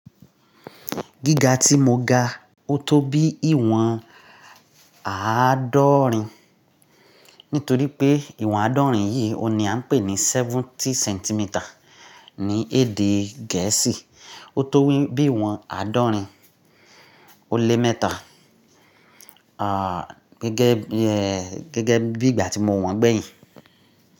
Gíga tí mo ga, ó tó bí ìwọ̀n àádọ́rin nítorí pé ìwọ̀n àádọ́rin yìí oun ni a ń pè ní seventy centimeter ní èdè gẹ̀ẹ́sì. Ó tó bí ìwọ̀n àádọ́rin ó lé mẹ́ta, gẹ́gẹ́ bí ìgbà tí mo wọ̀n gbẹ̀yìn.